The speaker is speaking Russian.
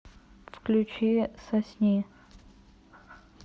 включи сосни